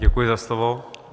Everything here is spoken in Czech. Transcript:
Děkuji za slovo.